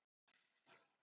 Eitthvað veit ég.